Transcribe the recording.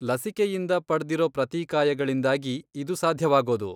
ಲಸಿಕೆಯಿಂದ ಪಡ್ದಿರೋ ಪ್ರತಿಕಾಯಗಳಿಂದಾಗಿ ಇದು ಸಾಧ್ಯವಾಗೋದು.